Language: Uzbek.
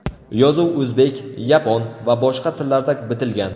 Yozuv o‘zbek, yapon va boshqa tillarda bitilgan.